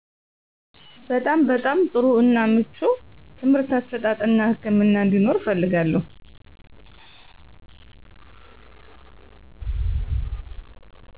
በጣም በጣም ጥሩ እና ምቹ ትምርህት አሰጣጥ እና ህክምና አንዴኖር እፈልጋለው